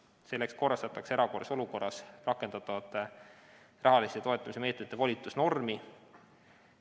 Selleks korrastatakse erakorralises olukorras rakendatavate rahalise toetamise meetmete volitusnormi.